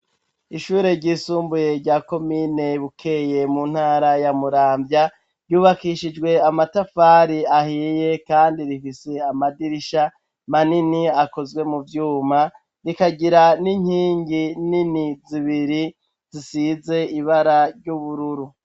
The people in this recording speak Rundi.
ishure ry'isumbuye rya komine bukeye mu ntara ya muramvya ryubakishijwe amatafari ahiye kandi rifise amadirisha manini akozwe mu vyuma rikagira n'inkingi nini zibiri zisize ibara ry'ubururu